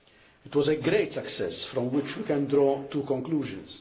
It was a great success, from which we can draw two conclusions.